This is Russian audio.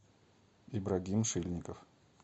ибрагим шильников